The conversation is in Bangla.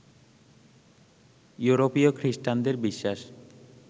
ইউরোপীয় খৃষ্টানদের বিশ্বাস